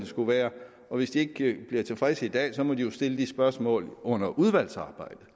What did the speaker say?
skulle være og hvis de ikke bliver tilfredse i dag må de jo stille spørgsmål under udvalgsarbejdet